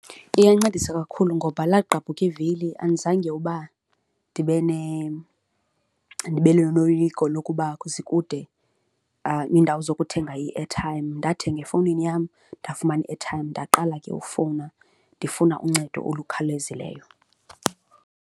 Iyancedisa kakhulu ngoba lagqabuka ivili andizange uba ndibe ndibe noloyiko lokuba zikude iindawo zokuthenga i-airtime, ndathenga efowunini yam, ndafumana i-airtime. Ndaqala ke ukufowuna ndifuna uncedo olukhawulezileyo.